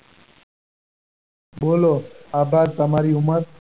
બોલો. આભાર તમારી ઉંમર?